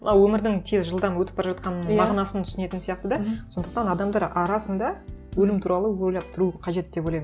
мына өмірдің тез жылдам өтіп бара жатқанын мағынасын түсінетін сияқты да сондықтан адамдар арасында өлім туралы ойлап тұру қажет деп ойлаймын